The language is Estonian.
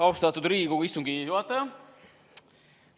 Austatud Riigikogu istungi juhataja!